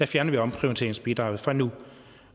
fjerner vi omprioriteringsbidraget fra nu